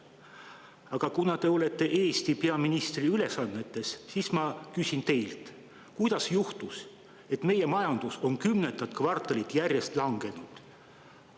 Aga kuna te olete Eesti peaministri ülesannetes, siis ma küsin teilt, kuidas on juhtunud nii, et meie majandus on kümnendat kvartalit järjest langenud.